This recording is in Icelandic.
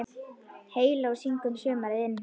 Heyló syngur sumarið inn